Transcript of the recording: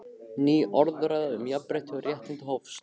Ný orðræða um jafnrétti og réttindi hófst.